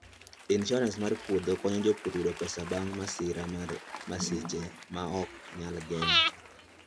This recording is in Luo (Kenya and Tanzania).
Insuarans mar puodho konyo jopur yudo pesa bang' masira mar masiche ma ok nyal geng'.